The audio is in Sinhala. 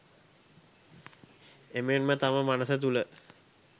එමෙන්ම තම මනස තුළ